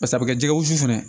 Pase a bɛ kɛ jɛgɛ wusu fɛ fana